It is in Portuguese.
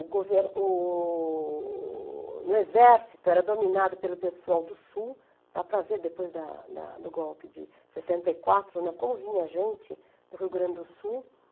O governo, o... O exército era dominado pelo pessoal do Sul, dá para ver depois da da do golpe de sessenta e quatro, né, como vinha gente do Rio Grande do Sul.